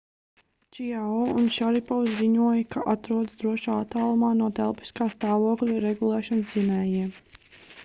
čiao un šaripovs ziņoja ka atrodas drošā attālumā no telpiskā stāvokļa regulēšanas dzinējiem